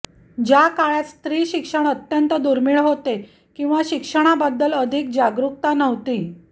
ज्या काळात स्त्री शिक्षण अत्यंत दुर्मिळ होते किंवा शिक्षणाबद्दल अधिक जागृकता नव्हती